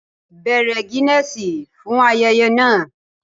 Bèèrè Guinness fún ayẹyẹ náà